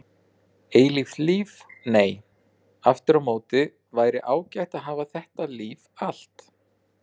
Eilíft líf nei, aftur á móti væri ágætt að hafa þetta líf allt.